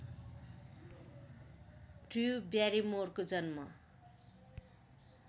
Drew ब्यारिमोरको जन्म